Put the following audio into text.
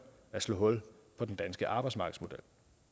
at slå hul på den danske arbejdsmarkedsmodel